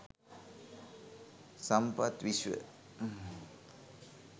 sampath wishwa